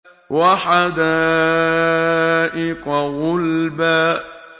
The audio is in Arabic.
وَحَدَائِقَ غُلْبًا